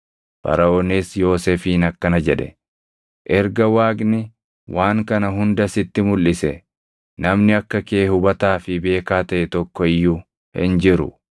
Faraʼoonis Yoosefiin akkana jedhe; “Erga Waaqni waan kana hunda sitti mulʼise, namni akka kee hubataa fi beekaa taʼe tokko iyyuu hin jiru.